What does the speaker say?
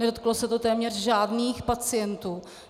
Nedotklo se to téměř žádných pacientů.